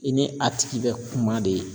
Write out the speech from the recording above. I ni a tigi be kuma de.